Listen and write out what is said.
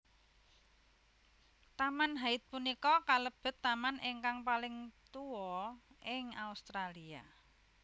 Taman Hyde punika kalebet taman ingkang paling tua ing Australia